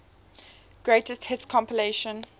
greatest hits compilation